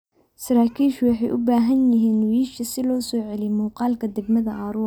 Saraakiishu waxay u baahan yihiin wiyisha si loo soo celiyo muuqaalka degmada Arua.